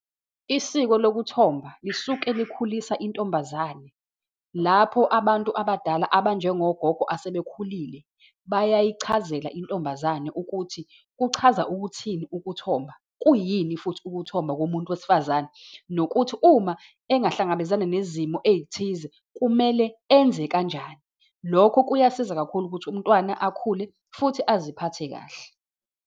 Isiko lokuthomba lisuke likhulisa intombazane lapho abantu abadala, abanjengogogo asebekhulile, bayichazela intombazane ukuthi kuchaza ukuthini ukuthomba, kuyini futhi ukuthomba komuntu wesifazane, nokuthi uma engahlangabezana nezimo ey'thize, kumele enze kanjani. Lokho kuyasiza kakhulu ukuthi umntwana akhule, futhi aziphathe kahle.